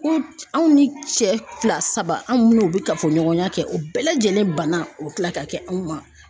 Ko anw ni cɛ fila saba an ni minnu bɛ kafoɲɔgɔnya kɛ o bɛɛ lajɛlen banna o bɛ kila ka kɛ anw ma